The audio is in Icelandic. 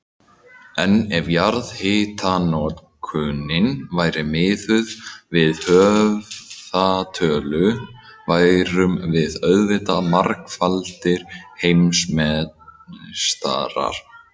En ef jarðhitanotkunin væri miðuð við höfðatölu værum við auðvitað margfaldir heimsmeistarar.